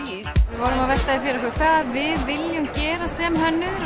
við vorum að velta fyrir okkur hvað við viljum gera sem hönnuðir